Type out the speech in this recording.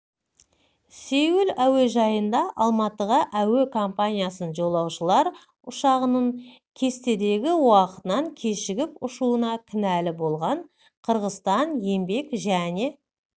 сеул әуежайында алматыға әуе компаниясы жолаушылар ұшағының кестедегі уақытынан кешігіп ұшуына кінәлі болған қырғызстан еңбек және